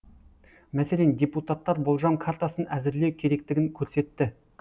мәселен депутаттар болжам картасын әзірлеу керектігін көрсетті